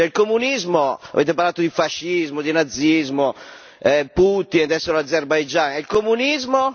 C'è il comunismo avete parlato di fascismo, di razzismo, Putin, adesso l'Azerbaigian e il comunismo?